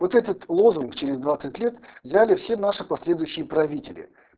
вот этот лозунг через двадцать лет взяли все наши последующие правители